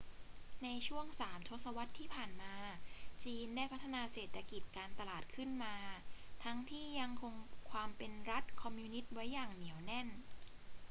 ในช่วงสามทศวรรษที่ผ่านมา จีนได้พัฒนาเศรษฐกิจการตลาดขึ้นมา ทั้งที่ยังคงความเป็นรัฐคอมมิวนิสต์ไว้อย่างเหนียวแน่น